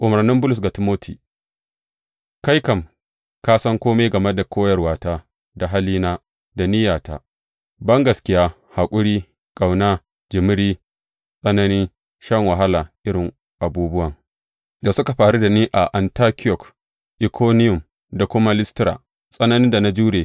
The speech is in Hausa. Umarnin Bulus ga Timoti Kai kam, ka san kome game da koyarwata, da halina, da niyyata, bangaskiya, haƙuri, ƙauna, jimiri, tsanani, shan wahala, irin abubuwan da suka faru da ni a Antiyok, Ikoniyum da kuma Listira, tsananin da na jure.